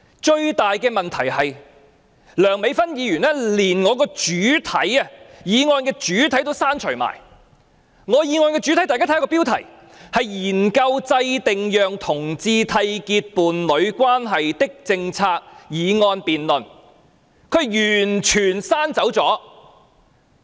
最大的問題是，梁美芬議員連我的議案主題也刪除了，我的原議案主題，大家可看看標題，是"研究制訂讓同志締結伴侶關係的政策"議案辯論，她完全刪除了。